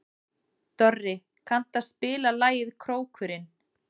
Dorri, kanntu að spila lagið „Krókurinn“?